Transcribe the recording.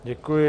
Děkuji.